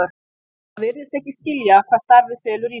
Það virðist ekki skilja hvað starfið felur í sér.